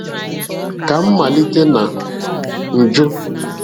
Ka m malite na njụ́